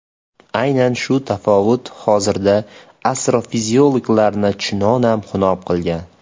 Aynan shu tafovut hozirda astrofiziklarni chunonam xunob qilgan.